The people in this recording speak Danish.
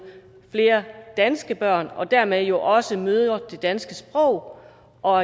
flere danske børn og dermed jo også møder det danske sprog og